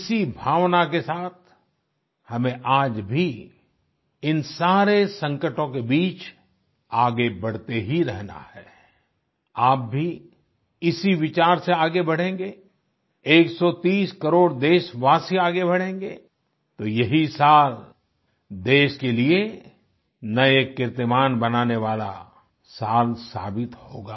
इसी भावना के साथ हमें आज भी इन सारे संकटों के बीच आगे बढ़ते ही रहना है आई आप भी इसी विचार से आगे बढ़ेंगे 130 करोड़ देशवासी आगे बढ़ेंगे तो यही साल देश के लिये नए कीर्तिमान बनाने वाला साल साबित होगा